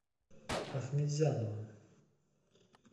ахметзянова